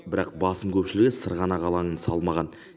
бірақ басым көпшілігі сырғанақ алаңын салмаған